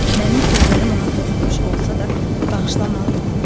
Mənim sözlərim ona toxunmuş olsa da, bağışlamalı idi.